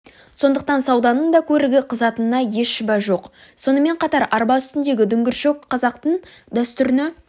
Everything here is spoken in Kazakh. сондықтан сауданың да көрігі қызатынына еш шүбә жоқ сонымен қатар арба үстіндегі дүңгіршек қазақтың дәстүріне